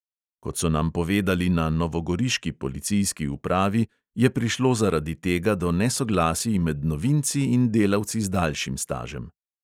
Kot so nam povedali na novogoriški policijski upravi, je prišlo zaradi tega do nesoglasij med novinci in delavci z daljšim stažem.